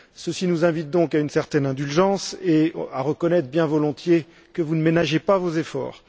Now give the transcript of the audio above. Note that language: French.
Ceci nous invite donc à une certaine indulgence et à reconnaître bien volontiers que vous ne ménagez pas vos efforts.